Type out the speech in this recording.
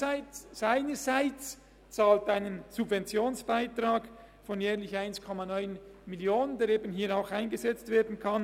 Der Bund seinerseits zahlt einen Subventionsbeitrag von jährlich 1,9 Mio. Franken, der eben hier auch eingesetzt werden kann.